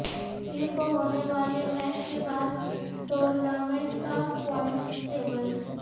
پیر کو ہونے والے میچ کے بعد ٹورنامنٹ کا پوائنٹس ٹیبل